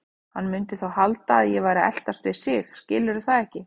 Hann mundi þá halda að ég væri að eltast við sig, skilurðu það ekki?